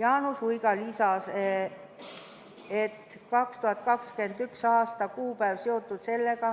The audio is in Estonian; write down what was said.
Jaanus Uiga lisas, et 2021. aasta kuupäev on seotud sellega,